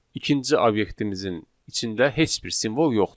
ikinci obyektimizin içində heç bir simvol yoxdur.